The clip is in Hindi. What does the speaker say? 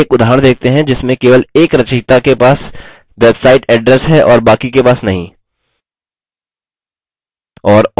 चलिए एक उदाहरण देखते हैं जिसमें केवल एक रचयिता के पास website address है और बाकी के पास नहीं